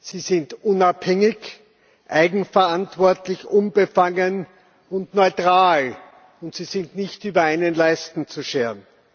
Sie sind unabhängig, eigenverantwortlich, unbefangen und neutral, und sie sind nicht über einen Leisten zu scheren.